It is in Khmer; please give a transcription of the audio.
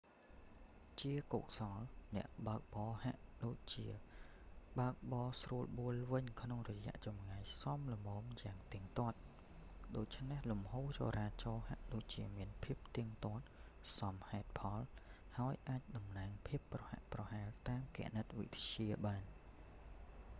ជាកុសល អ្នកបើកបរហាក់ដូចជាបើកបរស្រួលបួលវិញក្នុងរយៈចម្ងាយសមល្មនយ៉ាងទៀងទាត់ ដូច្នេះលំហូរចរាចរណ៍ហាក់ដូចជាមានភាពទៀងទាត់សមហេតុផលហើយអាចតំណាងភាពប្រហាក់ប្រហែលតាមគណិតវិទ្យាបាន